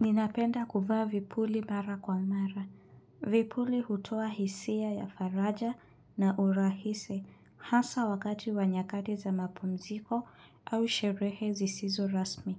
Ninapenda kuvaa vipuli mara kwa mara. Vipuli hutoa hisia ya faraja na urahisi, hasa wakati wa nyakati za mapumziko au sherehe zisizo rasmi.